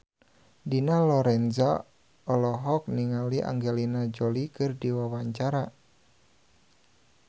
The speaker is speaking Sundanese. Dina Lorenza olohok ningali Angelina Jolie keur diwawancara